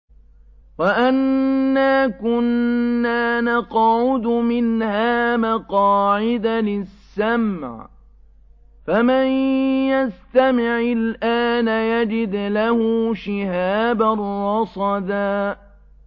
وَأَنَّا كُنَّا نَقْعُدُ مِنْهَا مَقَاعِدَ لِلسَّمْعِ ۖ فَمَن يَسْتَمِعِ الْآنَ يَجِدْ لَهُ شِهَابًا رَّصَدًا